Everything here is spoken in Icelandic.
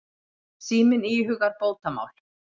Síminn íhugar bótamál.